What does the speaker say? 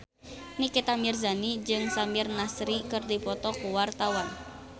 Nikita Mirzani jeung Samir Nasri keur dipoto ku wartawan